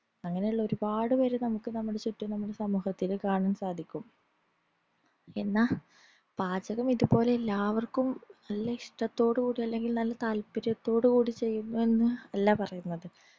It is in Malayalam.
അങ്ങനെ ഉള്ളോര്പ്പാട് പേര് നമുക് നമ്മുടെ ചുറ്റിനും സമൂഹത്തിന് കാണാൻ സാധിക്കും എന്നാ പാചകം ഇതുപോലെ എല്ലാവർക്കും നല്ല ഇഷ്ടതോടുകൂടി അല്ലെങ്കിൽ നല്ല താത്പര്യത്തോടുകൂടി ചെയ്യുന്നെന്ന് അല്ല പറീന്നത്